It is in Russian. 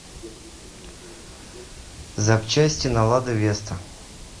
запчасти на лада веста